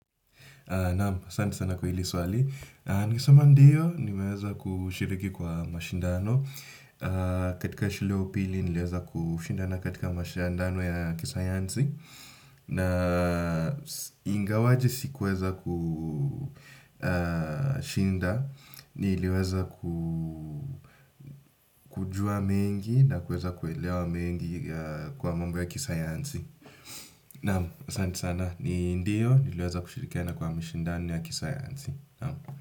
Naam, asanti sana kwa hili swali. Nimesema ndiyo nimeweza kushiriki kwa mashindano katika shule ya upili, nilieza kushindana katika mashindano ya kisayansi. Na ingawaji sikuweza kushinda, niliweza kujua mengi na kuweza kuelewa mengi kwa mambo ya kisayansi. Naamu, sandi sana. Ndiyo, niliweza kushirikiana kwa mashindano ya kisayansi. Naam.